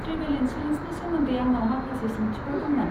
Travel इन्सुरेन्सनि सोमोनदै आंनाव माखासे सोंथिफोर दंमोन।